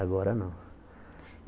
Agora não.